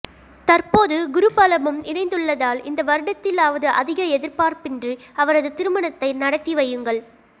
தற்போது குரு பலமும் இணைந்துள்ளதால் இந்த வருடத்திலாவது அதிக எதிர்பார்ப்பின்றி அவரது திருமணத்தை நடத்தி வையுங்கள்